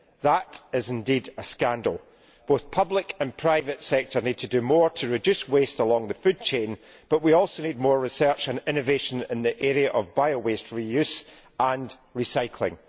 that is indeed a scandal. Both the public and private sectors need to do more to reduce waste along the food chain, but we almost need more research and innovation in the area of bio waste reuse and recycling.